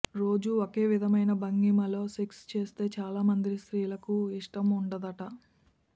రోజూ ఒకే విధమైన భంగిమలో సెక్స్ చేస్తే చాలా మంది స్త్రీలకు ఇష్టం ఉండదట